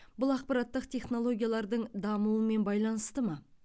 бұл ақпараттық технологиялардың дамуымен байланысты ма